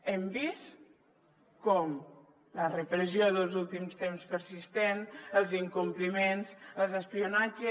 hem vist com la repressió dels últims temps persistent els incompliments l’espionatge